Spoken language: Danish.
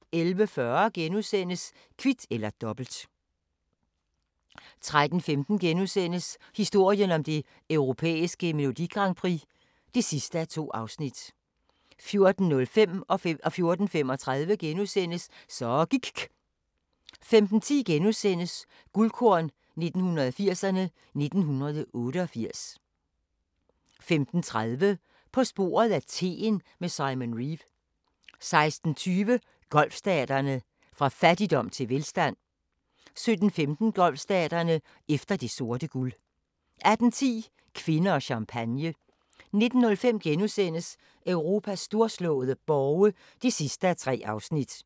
11:40: Kvit eller Dobbelt * 13:15: Historien om det europæiske Melodi Grand Prix (2:2)* 14:05: Så gIKK' * 14:35: Så gIKK' * 15:10: Guldkorn 1980'erne: 1988 * 15:30: På sporet af teen med Simon Reeve 16:20: Golfstaterne: Fra fattigdom til velstand 17:15: Golfstaterne: Efter det sorte guld 18:10: Kvinder og champagne 19:05: Europas storslåede borge (3:3)*